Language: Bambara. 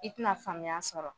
I tɛna faamuya sɔrɔ